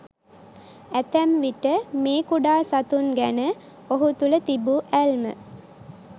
ඇතැම් විට මේ කුඩා සතුන් ගැන ඔහු තුළ තිබූ ඇල්ම